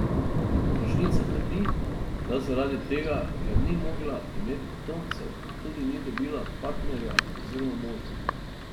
Tožnica trdi, da zaradi tega, ker ni mogla imeti potomcev, tudi ni dobila partnerja oziroma moža.